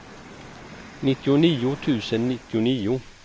nittionio tusen nittionio